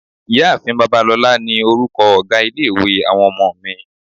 Ìyá-ààfin Babalola ni orúkọ ọ̀gá ilé-ìwé ọmọ mi.